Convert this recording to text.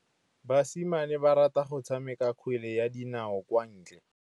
Basimane ba rata go tshameka kgwele ya dinaô kwa ntle.